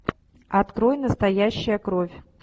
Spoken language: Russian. открой настоящая кровь